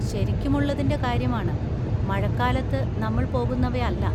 ശരിക്കുമുള്ളതിന്‍റെ കാര്യമാണ്, മഴക്കാലത്ത് നമ്മൾ പോകുന്നവയല്ല.